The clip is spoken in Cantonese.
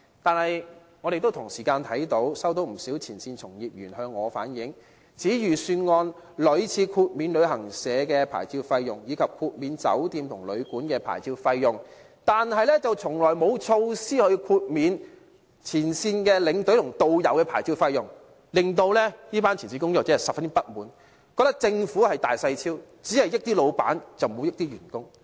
但是，我們同時看到，不少前線從業員亦向我反映，指預算案屢次豁免旅行社的牌照費用，以及豁免酒店和旅館的牌照費用，但從來沒有措施豁免前線領導和導遊的牌照費用，令這群前線工作者十分不滿，覺得政府厚此薄彼，只優惠老闆，而不優惠員工。